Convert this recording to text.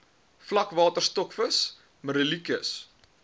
vlakwater stokvis merluccius